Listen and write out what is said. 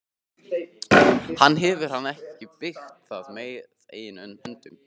Hefur hann ekki byggt það með eigin höndum?